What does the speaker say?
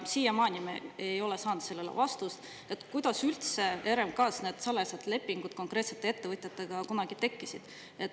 Me ei ole saanud vastust, kuidas üldse RMK-s need salajased lepingud konkreetsete ettevõtjatega kunagi tekkisid.